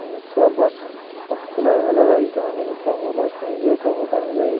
एने सब बस अब खुले ही वाला बाड़ी सन कहीं बस खुल जाइ कहीं बस कहीं जाइ।